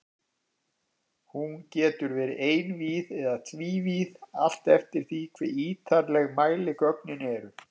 Hún getur verið einvíð eða tvívíð, allt eftir því hve ítarleg mæligögnin eru.